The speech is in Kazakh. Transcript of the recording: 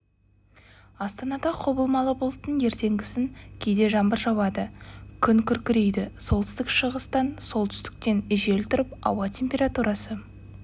астанада құбылмалы бұлтты ертеңгісін кейде жаңбыр жауады күн күркірейді солтүстік-шығыстан солтүстіктен жел тұрып ауа температурасы